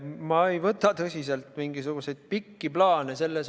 Ma ei võta selles suhtes tõsiselt mitte mingisuguseid pikki plaane.